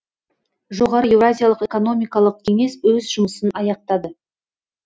жоғары еуразиялық экономикалық кеңес өз жұмысын аяқтады